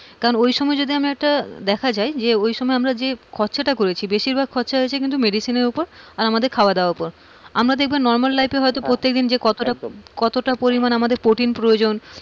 কারণ ওই সময় আমি যদি একটা দেখা যায় ওই সময় যে খরচারটা করেছি বেশিরভাগটা খরচা হয়েছে medicine উপর আর আমাদের খাওয়া-দাওয়ার উপর, আমাদের normal life কতটা protine প্রয়োজন,